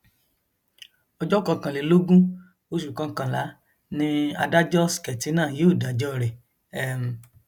ọjọ kọkànlélógún oṣù kọkànlá ni adájọ sketina yóò dájọ rẹ um